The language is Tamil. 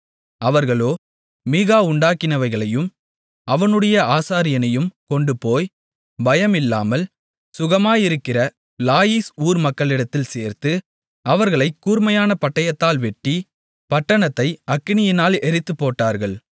அவர்களோ மீகா உண்டாக்கினவைகளையும் அவனுடைய ஆசாரியனையும் கொண்டுபோய் பயமில்லாமல் சுகமாயிருக்கிற லாயீஸ் ஊர் மக்களிடத்தில் சேர்த்து அவர்களைக் கூர்மையான பட்டயத்தால் வெட்டி பட்டணத்தை அக்கினியால் எரித்துப்போட்டார்கள்